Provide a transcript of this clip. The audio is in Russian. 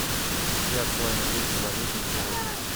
все актуальные курсы валют на сегодня